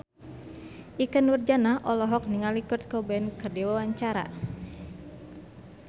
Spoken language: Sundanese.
Ikke Nurjanah olohok ningali Kurt Cobain keur diwawancara